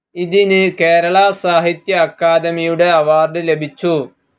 ഇതിന് കേരള സാഹിത്യ അക്കാദമിയുടെ അവാർഡ്‌ ലഭിച്ചു.